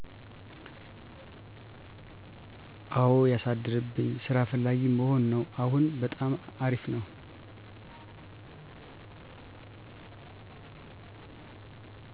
አወ ያሳደርብኝ ስራ ፈላጊመሆን ነው አሁን በጣም አርፍነው